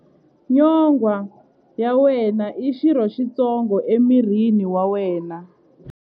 Nyonghwa ya wena i xirho xitsongo emirini wa wena.